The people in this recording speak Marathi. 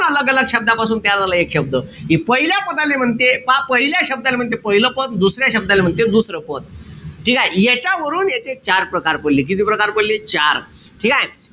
शब्दापासून तयार झाला एक शब्द. हे पहिल्या पदाले म्हणते, पहिल्या शब्दाले म्हणते पाहिलं पद. दुसऱ्या शब्दाले म्हणते दुसरं पद. ठीकेय? याच्यावरून याचे चार प्रकार पडले. किती प्रकार पडले? चार. ठीकेय?